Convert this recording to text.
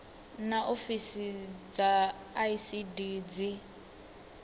naa ofisi dza icd dzi